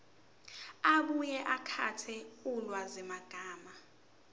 abuye akhethe ulwazimagama